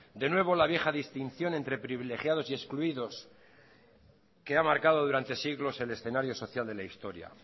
de nuevo la vieja distinción entre privilegiados y excluidos que ha marcado durante siglos el escenario social de la historia